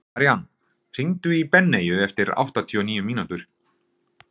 Marían, hringdu í Benneyju eftir áttatíu og níu mínútur.